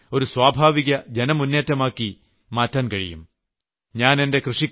ഇത് വൃക്ഷം നടീലിന്റെ ഒരു സ്വാഭാവിക ജനമുന്നേറ്റമാക്കി മാറ്റാൻ കഴിയും